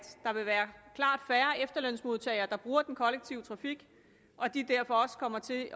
der vil være klart færre efterlønsmodtagere der bruger den kollektive trafik og at de derfor også kommer til at